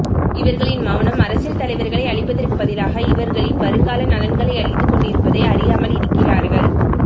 இவர்களின் மெளனம் அரசியல் தலைவர்களை அழிப்பதற்கு பதிலாக இவர்களின் வருங்கால நலன்களை அழித்து கொண்டிருப்பதை அறியாமல் இருக்கிறார்கள்